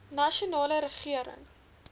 nasionale regering